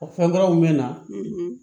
O fɛnkuraw mɛna